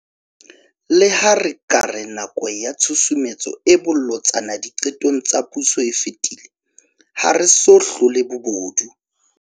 Leha re ka re nako ya tshusumetso e bolotsana diqetong tsa puso e fetile, ha re so hlole bobodu.